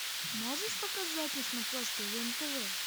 можешь показать на смотрешке нтв